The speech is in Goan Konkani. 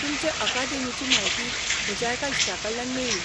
तुमचे अकादेमीची म्हायती म्हज्या एका इश्टाकडल्यान मेळ्ळी.